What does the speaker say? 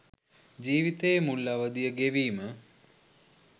ජීවිතයේ මුල් අවධිය ගෙවීම